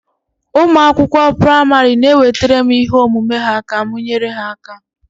Ụmụ akwụkwọ praịmarị na-ewetara m ihe omume ha ka m nyere ha aka